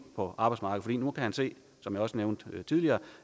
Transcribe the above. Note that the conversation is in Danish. på arbejdsmarkedet nu kan han se som jeg også nævnte tidligere